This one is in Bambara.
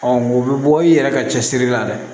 o bɛ bɔ i yɛrɛ ka cɛsiri la dɛ